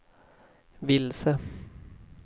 vilse